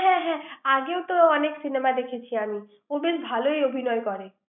হ্যাঁ হ্যাঁ আগে তো অনেক cinema দেখেছি আমি ও বেশ ভালই অভিনয় করে ৷